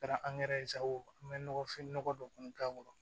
Kɛra sago ye an bɛ nɔgɔfin nɔgɔ dɔ kun k'a kɔrɔ